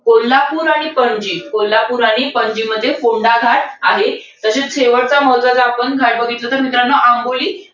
कोल्हापूर आणि पणजी. कोल्हापूर आणि पणजीमध्ये कोंढा घाट आहे. तसचं शेवटच महत्वाचं आपण काय बघितलं? तर मित्रांनो आंबोली,